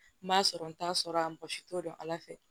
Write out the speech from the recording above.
N b'a sɔrɔ n t'a sɔrɔ a mɔgɔ si t'o dɔn ala fɛ